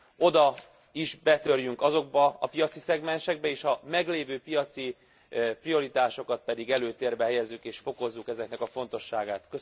oda is betörjünk, azokba a piaci szegmensekbe és a meglévő piaci prioritásokat pedig előtérbe helyezzük és fokozzuk ezeknek a fontosságát.